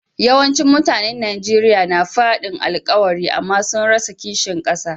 Yawancin mutanen Nijeriya na fadin alkawari amma sun rasa kishin kasa.